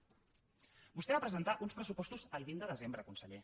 vostè va presentar uns pressupostos el vint de desembre conseller